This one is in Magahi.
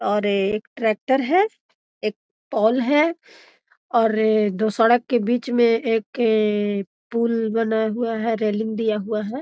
और एक ट्रैक्टर है एक पोल है और दो सड़क के बीच में एक पुल बनाया हुआ है एक रेलिंग दिया हुआ है।